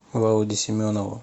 володе семенову